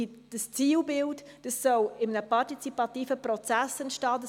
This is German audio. Dieses Zielbild soll in einem partizipativen Prozess entstehen.